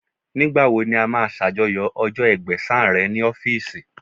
Nígbà wo ni a máa ṣàjọyọ̀ ọjọ́ Ẹgbẹ̀sán rẹ̀ ní ọ́fíìsì?